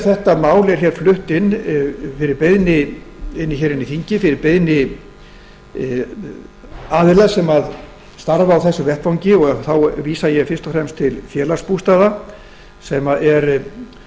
þetta mál er flutt hér fyrir beiðni aðila sem starfa á þessum vettvangi og þá vísa ég fyrst og fremst til félagsbústaða sem er